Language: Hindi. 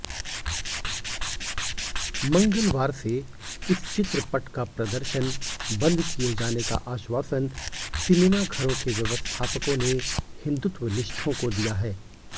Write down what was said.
मंगलवारसे इस चित्रपटका प्रदर्शन बंद किए जानेका आश्वासन सिनेमाघरोंके व्यवस्थापककोंने हिंदुत्वनिष्ठोंको दिया है